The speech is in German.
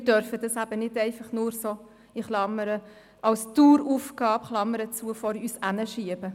Wir dürfen dies eben nicht einfach nur so – Klammer auf: als Daueraufgabe, Klammer geschlossen – vor uns herschieben.